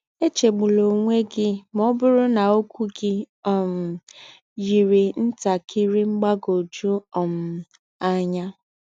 Echegbula onwe gị ma ọ bụrụ na okwu gị um yiri ntakịrị mgbagwoju um anya.